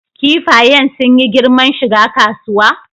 Kifayen sun yi girman shiga kasuwa?